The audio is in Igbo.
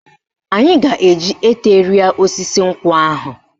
Anyị ga-eji ete rịa osisi nkwụ ahụ.